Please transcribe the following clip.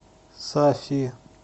сафи